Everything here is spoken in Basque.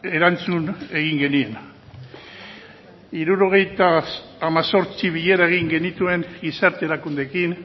erantzun egin genien hirurogeita hemezortzi bilera egin genituen gizarte erakundeekin